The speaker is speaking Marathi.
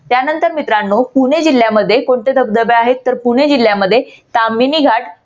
त्यानंतर मित्रांनो पुणे जिल्यामध्ये कोण कोणते धबधबे आहेत? तर पुणे जिल्ह्यामध्ये कामिनी घाट